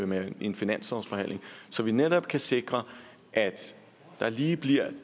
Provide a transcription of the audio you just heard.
med i en finanslovsforhandling så vi netop kan sikre at der lige bliver